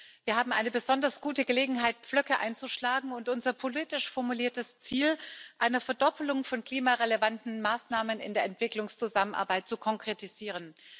Das heißt, wir haben eine besonders gute Gelegenheit, Pflöcke einzuschlagen und unser politisch formuliertes Ziel einer Verdopplung von klimarelevanten Maßnahmen in der Entwicklungszusammenarbeit zu konkretisieren.